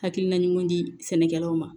Hakilina ɲuman di sɛnɛkɛlaw ma